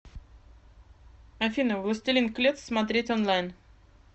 афина властелин клец смотреть онлайн